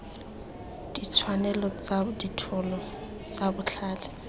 ditshwanelo tsa dithoto tsa botlhale